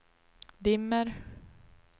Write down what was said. dimmer